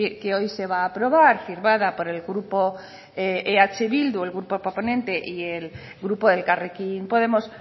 que hoy se va a aprobar firmada por el grupo eh bildu el grupo proponente y el grupo de elkarrekin podemos